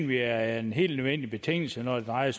vi er en helt nødvendig betingelse når det drejer